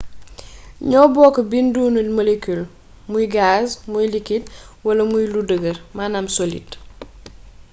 ñoo bokk binduni molecule muy gaz muy liquide wala muy lu dëgër solide